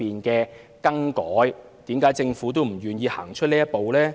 為甚麼政府仍不願意走出這一步呢？